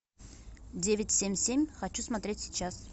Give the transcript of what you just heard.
девять семь семь хочу смотреть сейчас